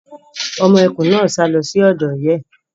Ọmọ ẹkùn náà sá lọ sí ọ̀dọ̀ ìyá ẹ̀.